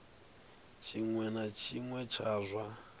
tshiṅwe na tshiṅwe tsha zwa